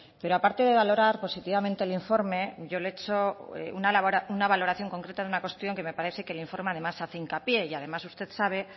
pero aparte de valorar positivamente el informe yo le he hecho una valoración concreta de una cuestión que me parece que el informe además hace hincapié y además usted sabe